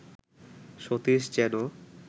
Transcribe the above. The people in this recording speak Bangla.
সতীশ যেন